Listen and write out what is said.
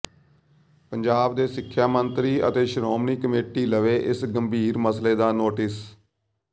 ਪੰਜਾਬ ਦੇ ਸਿੱਖਿਆ ਮੰਤਰੀ ਅਤੇ ਸ਼੍ਰੋਮਣੀ ਕਮੇਟੀ ਲਵੇ ਇਸ ਗੰਭੀਰ ਮਸਲੇ ਦਾ ਨੋਟਿਸ